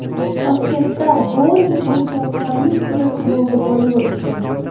Toshkentda bouling bo‘yicha Paralimpiya Kubogi bo‘lib o‘tdi.